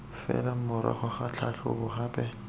fela morago ga tlhatlhobo gape